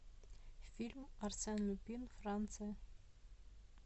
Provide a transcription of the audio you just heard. фильм арсен люпен франция